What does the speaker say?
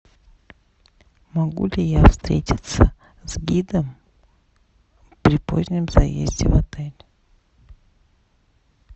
могу ли я встретиться с гидом при позднем заезде в отель